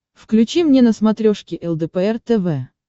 включи мне на смотрешке лдпр тв